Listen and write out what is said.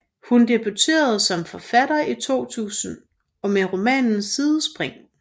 Hun debuterede som forfatter i 2000 med romanen Sidespring